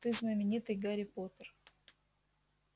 ты знаменитый гарри поттер